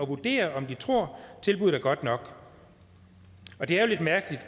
vurdere om de tror at tilbuddet er godt nok og det er jo lidt mærkeligt